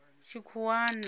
tshikhuwani